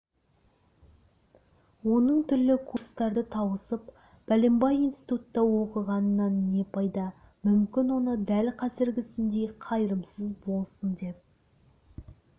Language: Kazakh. оның түрлі курстарды тауысып бәленбай институтта оқығанынан не пайда мүмкін оны дәл қазіргісіндей қайырымсыз болсын деп